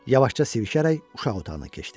Yavaşca sivişərək uşaq otağına keçdi.